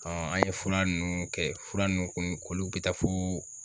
an ye fura nunnu kɛ fura nunnu kun k'olu bɛ taa fo